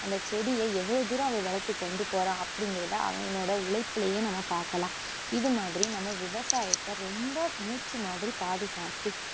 அந்த செடிய எவ்ளோ தூரம் அவன் வளத்து கொண்டு போறான் அப்படிங்குறதை அவனோட உழைப்பிலேயே நம்ம பாக்கலாம் இதுமாதிரி நம்ப விவசாயத்த ரொம்ப மூச்சுமாதிரி பாதுகாத்து